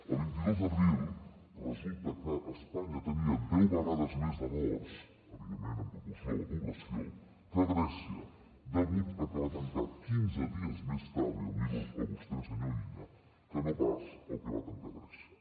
el vint dos d’abril resulta que espanya tenia deu vegades més de morts evidentment en proporció a la població que grècia degut a que va tancar quinze dies més tard i el miro a vostè senyor illa que no pas el que va tancar grècia